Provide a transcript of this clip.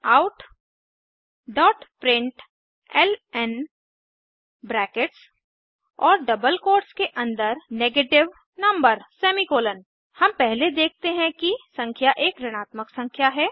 systemoutप्रिंटलन brackets और double quotes के अन्दर नेगेटिव numberऋणात्मक संख्या हम पहले देखते हैं कि संख्या एक ऋणात्मक संख्या है